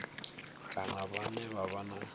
kana vhane vha vha na